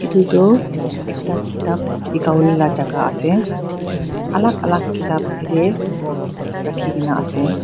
edu toh ekta kitap bikawo laela jaka ase alak alak kitap yatae rakhikaena ase.